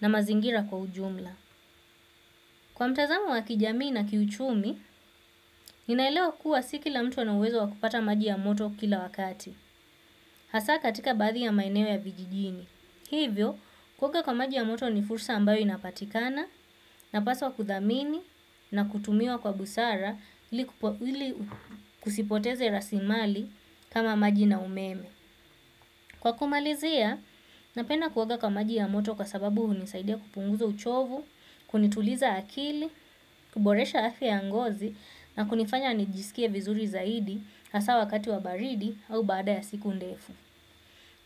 na mazingira kwa ujumla. Kwa mtazamo wa kijamii na kiuchumi, ninaelewa kuwa si kila mtu anauwezo wa kupata maji ya moto kila wakati. Hasa katika baadhi ya maeneo ya vijijini. Hivyo, kuoga kwa maji ya moto ni fursa ambayo inapatikana napaswa kuthamini na kutumiwa kwa busara ili kusipoteze rasimali kama maji na umeme. Kwa kumalizia, napenda kuoga kwa maji ya moto kwa sababu hunisaidia kupunguza uchovu, kunituliza akili, kuboresha afya ya ngozi na kunifanya nijisikie vizuri zaidi hasa wakati wa baridi au baada ya siku ndefu.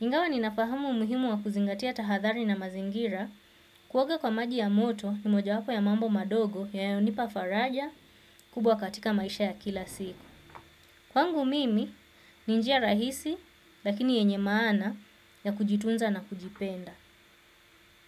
Ingawa ninafahamu umuhimu wa kuzingatia tahathari na mazingira kuoga kwa maji ya moto ni mojawapo ya mambo madogo yanayonipa faraja, kubwa katika maisha ya kila siku. Kwangu mimi, ni njia rahisi lakini yenye maana ya kujitunza na kujipenda.